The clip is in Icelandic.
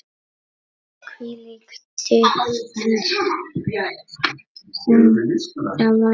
Hvílík dýpt sem það væri.